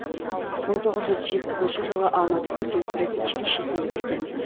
мың тоғыз жүз жетпісінші жылы алматы көркемсурет училищесін бітірген